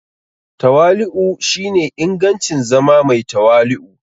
Tawali'u shine ingancin zama mai tawali'u.